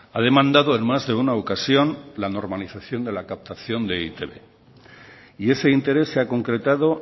ha demandado en más de una ocasión la normalización de la captación de e i te be y ese interés se ha concretado